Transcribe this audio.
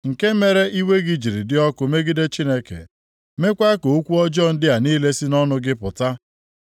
nke mere iwe gị jiri dị ọkụ megide Chineke, meekwa ka okwu ọjọọ ndị a niile si nʼọnụ gị pụta?